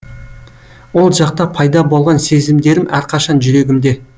ол жақта пайда болған сезімдерім әрқашан жүрегімде